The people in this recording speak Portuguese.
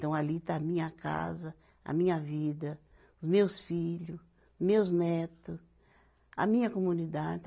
Então ali está a minha casa, a minha vida, os meus filho, meus netos, a minha comunidade.